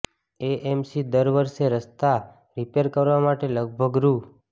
AMC દર વર્ષે રસ્તા રિપેર કરવા માટે લગભગ રૂ